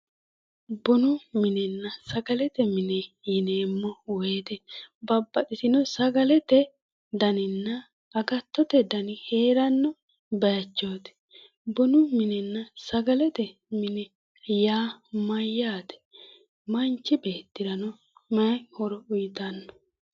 Bunu minenna sagalete mine yineemmo woyite babbaxxitino sagale daninna agattote dani heeranno bayichooti. Bunu mininna sagalete mini yaa mayyaate? Manchi beettirano mayi horo uyitanno?